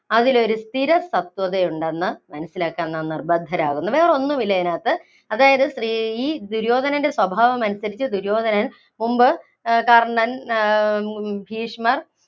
അതിലൊരു സ്ഥിര സത്വത ഉണ്ടെന്ന് മനസ്സിലാക്കാന്‍ നാം നിര്‍ബന്ധരാകുന്നു. വേറൊന്നും ഇല്ല ഇതിനകത്ത്. അതായത്, ഈ ദുര്യോധനന്‍റെ സ്വഭാവം അനുസരിച്ച് ദുര്യോധനൻ മുമ്പ് കർണൻ, ഭീഷ്മർ,